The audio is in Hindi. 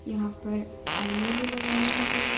यहां पर आईने भी लगाए हुए हैं।